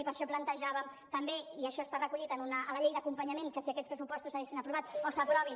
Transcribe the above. i per això plantejàvem també i això està recollit a la llei d’acompanyament que si aquests pressupostos s’haguessin aprovat o s’aprovin